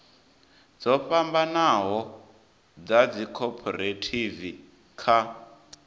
dzo fhambanaho dza dzikhophorethivi kha